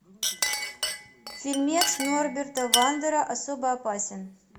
фильмец норберта вандера особо опасен